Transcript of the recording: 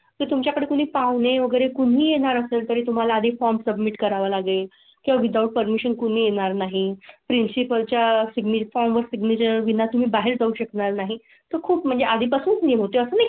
तुमच्याकडे कोणी पाहुणे वगैरे कोणी येणार असेल तर तुम्हाला आधी फॉर्म सबमिट करावा लागेल का? विदाउट पर्मिशन कोणी येणार नाही प्रिंसिपल च्या फॉर्म वर सिग्नेचरं विना तुम्ही बाहेर जाऊ शकणार नाही. खूप म्हणजे आधीपासून म्हणजे असं नाही.